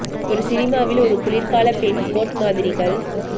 ஒரு சினிமாவில் ஒரு குளிர்கால பெண் கோட் மாதிரிகள்